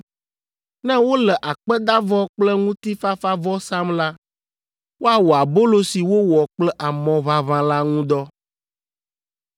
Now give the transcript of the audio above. Ne wole akpedavɔ kple ŋutifafavɔ sam la, woawɔ abolo si wowɔ kple amɔ ʋaʋã la ŋu dɔ.